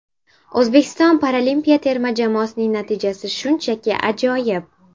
O‘zbekiston paralimpiya terma jamoasining natijasi shunchaki ajoyib.